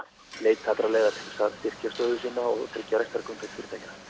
leiti allra leiða til að styrkja stöðu sína og tryggja rekstrargrundvöll fyrirtækjanna